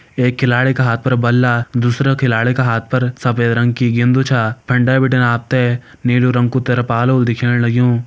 एक खिलाडी का हाथ पर बल्ला दूसरा खिलाडी का हाथ पर सफ़ेद रंग की गिन्दु छा फंडे बिटिन आप ते नीलू रंग कु तिरपाल होलु दिखेण लग्युं।